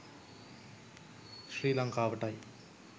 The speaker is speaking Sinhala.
ශ්‍රී ලංකාවටයි.